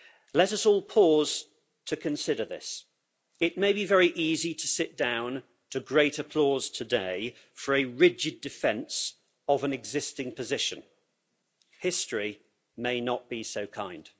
Let us all pause to consider this it may be very easy to sit down to great applause today for a rigid defence of an existing position. History may not be so kind.